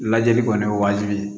Lajɛli kɔni ye waajibi ye